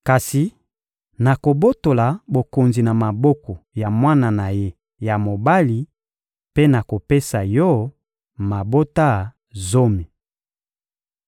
Kasi nakobotola bokonzi na maboko ya mwana na ye ya mobali mpe nakopesa yo mabota zomi.